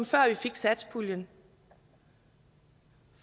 før vi fik satspuljen